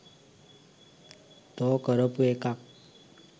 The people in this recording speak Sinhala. තෝ කරපු එකක්